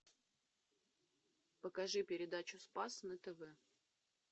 покажи передачу спас на тв